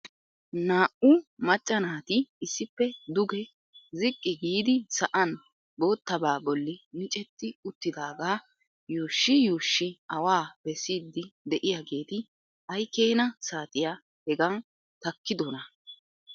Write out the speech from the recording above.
Naa"u macca naati issippe duge ziqqi giidi sa'an boottaba bolli micceti uttidaaga yuushshi yuushi awaa bessiidi de'iyaageeti ay keena saatiya hega takkidona?